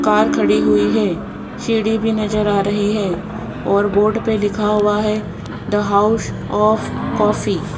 Car खड़ी हुई है सीढ़ी भी नजर आ रही है और बोर्ड पे लिखा हुआ है द हाउस आफ कॉफी ।